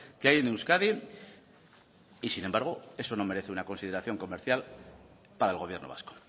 que hay en euskadi y sin embargo eso no merece una consideración comercial para el gobierno vasco